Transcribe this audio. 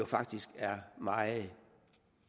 faktisk er meget